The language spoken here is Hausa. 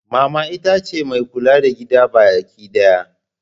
Mama ita ce mai kula da gida bakidaya.